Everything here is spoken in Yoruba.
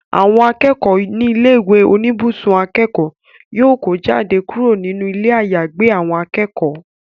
Àwọn akẹ́kọ̀ọ́ ní ilé ìwé oníbùsùn akẹ́kọ̀ọ́ yóò kó jáde kúrò nínú ilé àyàgbé àwọn akẹ́kọ̀ọ́